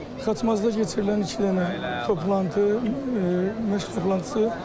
Xaçmazda keçirilən iki dənə toplantı, məşq toplantısı.